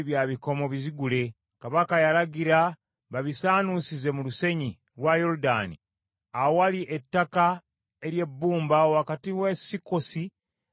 Kabaka yalagira babisaanuusize mu lusenyi lwa Yoludaani awali ettaka ery’ebbumba wakati w’e Sukkosi n’e Zalesani.